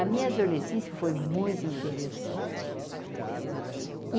A minha adolescência foi muito interessante.